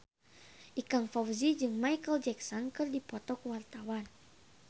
Ikang Fawzi jeung Micheal Jackson keur dipoto ku wartawan